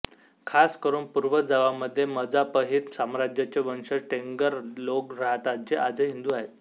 खासकरून पूर्व जावा मध्ये मजापहित साम्राज्य चे वंशज टेंगर लोग रहतात जे आजही हिंदू आहेत